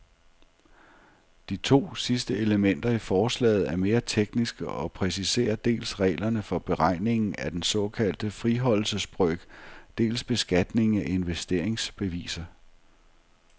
De to sidste elementer i forslaget er mere tekniske og præciserer dels reglerne for beregningen af den såkaldte friholdelsesbrøk, dels beskatningen af investeringsbeviser.